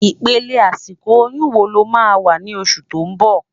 Ipélé àsikó óyùn wó ló má wá ni ósù tó n bò?